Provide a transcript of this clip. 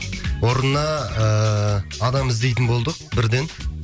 орнына ыыы адам іздейтін болдық бірден